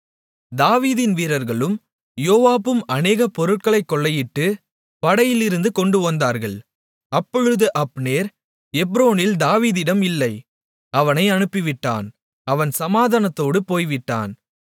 தாவீதின் வீரர்களும் யோவாபும் அநேக பொருட்களைக் கொள்ளையிட்டு படையிலிருந்து கொண்டு வந்தார்கள் அப்பொழுது அப்னேர் எப்ரோனில் தாவீதிடம் இல்லை அவனை அனுப்பிவிட்டான் அவன் சமாதானத்தோடு போய்விட்டான்